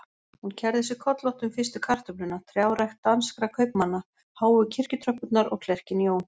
Hún kærði sig kollótta um fyrstu kartöfluna, trjárækt danskra kaupmanna, háu kirkjutröppurnar og klerkinn Jón